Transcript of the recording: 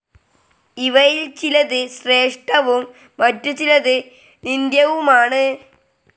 ഇവയിൽ ചിലത് ശ്രേഷ്ഠവും മറ്റുചിലത് നിന്ദ്യവുമാണ്.